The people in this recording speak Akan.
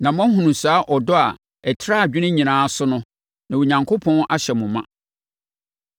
na moahunu saa ɔdɔ a ɛtra adwene nyinaa so no, na Onyankopɔn ahyɛ mo ma.